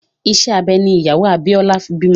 Ìṣe abẹ ní ìyàwó Abíọ́lá fi bímọ